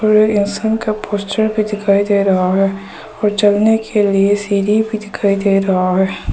इंसान का पोस्टर भी दिखाई दे रहा है और चलने के लिए सीढ़ी भी दिखाई दे रहा है।